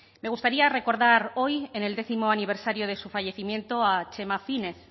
me gustaría recordar hoy en el décimo aniversario de su fallecimiento a txema fínez